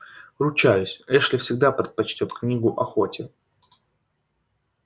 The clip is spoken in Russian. ручаюсь эшли всегда предпочтёт книгу охоте